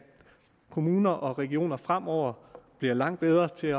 kommuner og regioner fremover bliver langt bedre til